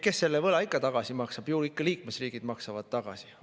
Kes selle võla ikka tagasi maksab, ju ikka liikmesriigid maksavad tagasi.